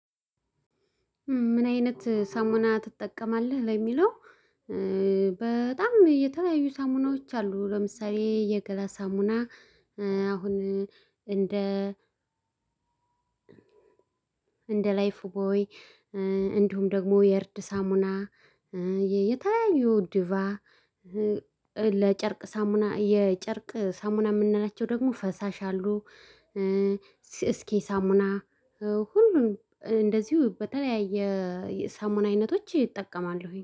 ምን አይነት ሳሙና ትጠቀማለህ ለሚለው? በጣም የተለያዩ ሳሙናዎች አሉ ለምሳሌ የገላ ሳሙና። አሁን እንደ እንደ ላይፍ ቦይ እንዲሁም ደግሞ የእርድ ሳሙና። የተለያዩ ድቫ ለጨርቅ ሳሙና የጨርቅ ሳሙና የምንላቸው ደግሞ ፈሳሽ አሉ። እስኪ ሳሙና ሁሉን እንደዚሁ በተለያየ የሰሙና አይነቶች እጠቀማለሁኝ